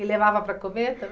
E levava para comer